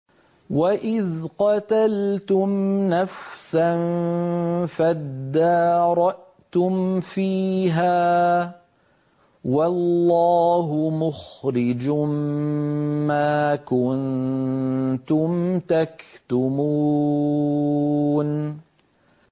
وَإِذْ قَتَلْتُمْ نَفْسًا فَادَّارَأْتُمْ فِيهَا ۖ وَاللَّهُ مُخْرِجٌ مَّا كُنتُمْ تَكْتُمُونَ